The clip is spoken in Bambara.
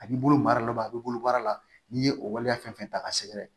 A b'i bolo mara dɔ bɛ a b'i bolo baara la n'i ye o waleya fɛn fɛn ta ka sɛgɛrɛ